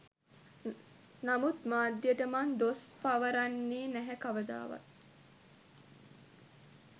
නමුත් මාධ්‍යට මං දොස් පවරන්නේ නැහැ කවදාවත්.